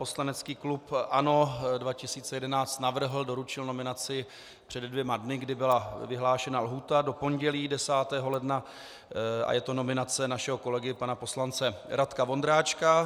Poslanecký klub ANO 2011 navrhl, doručil nominaci před dvěma dny, kdy byla vyhlášena lhůta do pondělí 10. ledna, a je to nominace našeho kolegy pana poslance Radka Vondráčka.